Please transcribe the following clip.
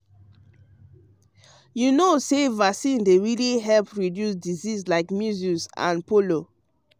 you know say vaccine dey really help reduce disease like measles and polio.